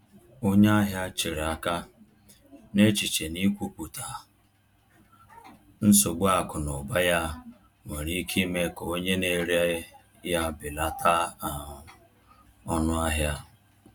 Onye ahịa chere aka, n’echiche na ikwupụta nsogbu akụ na ụba ya nwere ike ime ka onye na-ere ya belata um ọnụahịa.